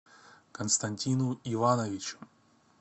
константину ивановичу